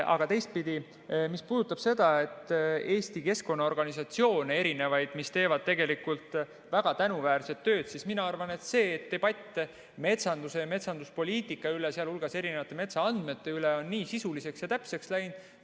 Aga teistpidi, mis puudutab erinevaid Eesti keskkonnaorganisatsioone, mis teevad väga tänuväärset tööd, siis mina arvan, et see debatt metsanduse ja metsanduspoliitika üle, sh erinevate metsaandmete üle, on nii sisuliseks ja täpseks läinud.